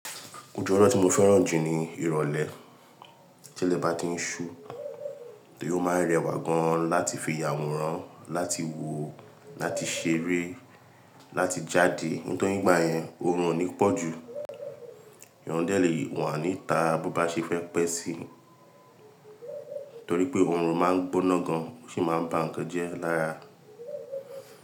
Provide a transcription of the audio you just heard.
Òju ojo tí mo fẹ́ràn jù ni ìrọ̀lẹ́. Tilẹ̀ bá ti ń ṣú, yọ máa rẹwà gan láti fi yàwùrán, láti wo, láti ṣeré, láti jáde. Nítorí ígbà yẹn, òrùn ò ní pọ̀ jù. Eyan dẹ́lé wa níta, bó bá ṣẹ fẹ́ pẹ́ sí i, torí pé òrùn máa ń gbóná gan, ó sì máa ń bàn nkan jẹ lára.